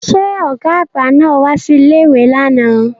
Ṣé ọ̀gá àgbà náà wá sí ilé-ìwé lánàá